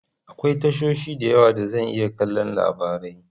Akwai tashoshi da yawa da zan iya kallon labarai.